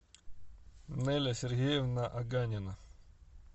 неля сергеевна аганина